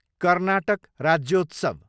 Karnataka Rajyotsav